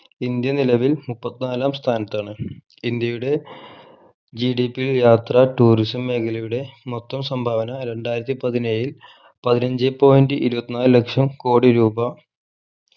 India നിലവിൽ മുപ്പത്തിനാലാം സ്ഥാനത്താണ് ഇന്ത്യയുടെ GDP ൽ യാത്ര tourism മേഖലയുടെ മൊത്തം സംഭാവന രണ്ടായിരത്തി പതിനേഴിൽ പതിനഞ്ചേ point ഇരുപത്തി നാല് ലക്ഷം കോടി രൂപ